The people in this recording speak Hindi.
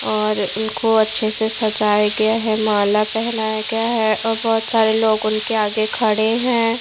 और उनको अच्छे से सजाया गया है माला पहनाया गया है और बहुत सारे लोग उनके आगे खड़े हैं।